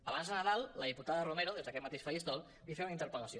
abans de nadal la diputada romero des d’aquest mateix faristol li feia una interpel·lació